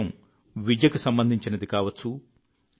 విషయం విద్యకు సంబంధించినది కావచ్చు